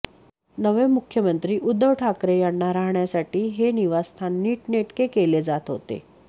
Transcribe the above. नवे मुख्यमंत्री उद्धव ठाकरे यांना राहण्यासाठी हे निवासस्थान नीटनेटके केले जात होते